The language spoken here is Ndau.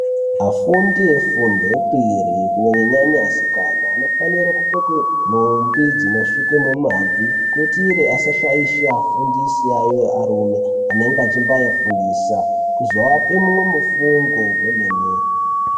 Afundi efundo yepiri kunyanya nyanya asikana anofanire kupfeke nhumbi dzinosvike mumabvi kuitire asashaishe afundisi ayo arume anenge eimbaifundisa kuzoape mumwe mufungo kwemene.